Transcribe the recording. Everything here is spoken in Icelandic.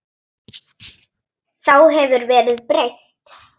Þá hefur verðið breyst.